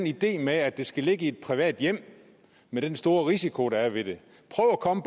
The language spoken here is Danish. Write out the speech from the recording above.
ideen med at de skal ligge i et privat hjem med den store risiko der er ved det prøv at komme